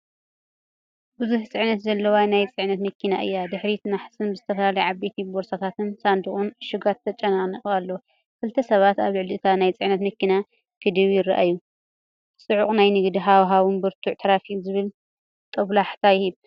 ብዙሕ ጽዕነት ዘለዋ ናይ ጽዕነት መኪና እያ። ድሕሪትን ናሕስን ብዝተፈላለየ ዓበይቲ ቦርሳታትን ሳንዱቕን ዕሹጋትን ተጨናኒቑ ኣሎ። ክልተ ሰባት ኣብ ልዕሊ እታ ናይ ጽዕነት መኪና ክድይቡ ይረኣዩ። ጽዑቕ ናይ ንግዲ ሃዋህውን ብርቱዕ ትራፊክን ዝብል ጦብላሕታ ይህብ።